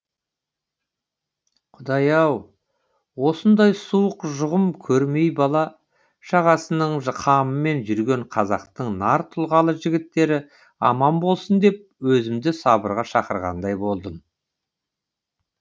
құдай ау осындай суық жұғым көрмей бала шағасының қамымен жүрген қазақтың нар тұлғалы жігіттері аман болсын деп өзімді сабырға шақырғандай болдым